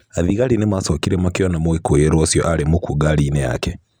Athigari ni maacokire makĩona mũikũirwo ũcio arĩ mũkuũ ngari-inĩ yake.